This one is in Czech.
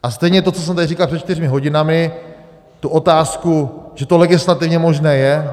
A stejně to, co jsem tady říkal před čtyřmi hodinami, tu otázku, že to legislativně možné je.